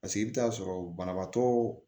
Paseke i bɛ taa sɔrɔ banabaatɔ